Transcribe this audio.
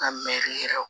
Ka mɛɛri yɛrɛ